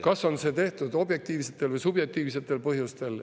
… kas see on tehtud objektiivsetel või subjektiivsetel põhjustel.